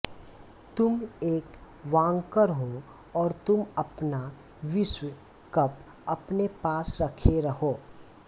तुम एक वांकर हो और तुम अपना विश्व कप अपने पास रखे रहो